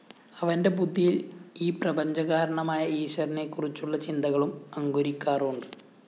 അവന്റെ ബുദ്ധിയില്‍ ഈ പ്രപഞ്ചകാരണമായ ഈശ്വരനെക്കുറിച്ചുള്ള ചിന്തകളും അങ്കുരിക്കാറുണ്ട്